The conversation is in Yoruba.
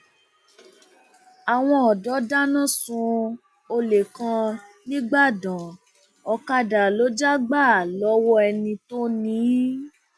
àwọn ọdọ dáná sun olè kan nígbàdàn ọkadà ló já gbà lọwọ ẹni tó ni ín